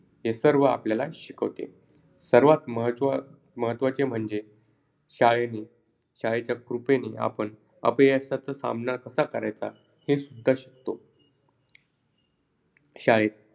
चंद्रावरच्या शाळेत अजून काय असायला हवे पुढील मुद्द्यावर कल्पना लिहा शाळेमधील शिक्षक वाचनालय प्रयोगशाळा परीक्षा पद्धती वगैरे.